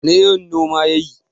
wane irin noma ya yi?